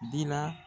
Dira